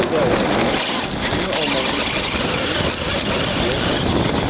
Evə qayıdanda, bunu almağımı istəmişdim, deyə soruşdum.